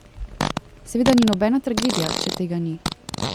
Seveda ni nobena tragedija, če tega ni.